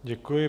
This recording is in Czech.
Děkuji.